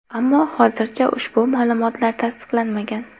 Ammo hozircha ushbu ma’lumotlar tasdiqlanmagan.